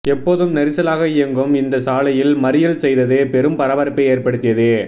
எப்போதும் நெரிசலாக இயங்கும் இந்த சாலையில் மறியல் செய்தது பெரும் பரபரப்பை ஏற்படுத்தியது